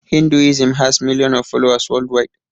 hinduism has million of followers world wide